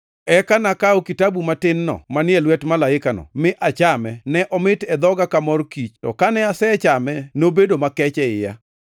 Eka nakawo kitabu matin-no manie lwet malaikano, mi achame, ne omit e dhoga ka mor kich to kane asechame nobedo makech e iya.